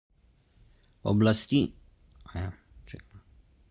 oblasti menijo da vse kaže na to da so vsebniki z uranskim gorivom morda počili in se razlili